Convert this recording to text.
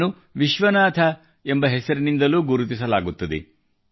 ಇವರನ್ನು ವಿಶ್ವನಾಥ ಎಂಬ ಹೆಸರಿನಿಂದಲೂ ಗುರುತಿಸಲಾಗುತ್ತದೆ